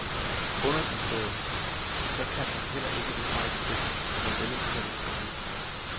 Underforstået, at så kan man heller ikke bebrejde det, når medlemstallet går ned.